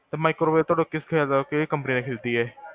ਤੇ microwave ਤੁਹਾਡਾ ਕੀ ਖਿਆਲ ਆ? ਕੇਹੜੀ ਕੰਪਨੀ ਦਾ ਖਰੀਦੀਏ?